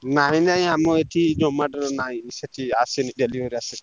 ନାଇଁ ନାଇଁ ଆମର ଏଠି Zomato ର ନାଇଁ। ସେଠି ଆସିନି delivery ଆସେନି।